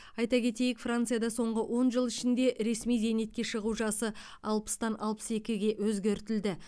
айта кетейік францияда соңғы он жыл ішінде ресми зейнетке шығу жасы алпыстан алпыс екіге өзгертілді